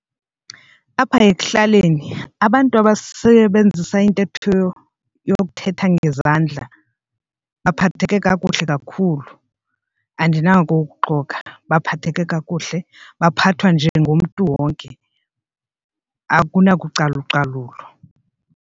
Apha ekuhlaleni abantu abasebenzisa intetho yokuthetha ngezandla baphatheke kakuhle kakhulu andinako ukuxoka baphatheke kakuhle baphathwa njengomntu wonke akunakucalucalulo.